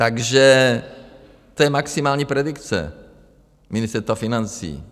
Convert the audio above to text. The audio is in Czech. Takže to je maximální predikce Ministerstva financí.